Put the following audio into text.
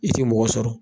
I ti mɔgɔ sɔrɔ